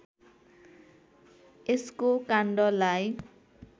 यसको काण्डलाई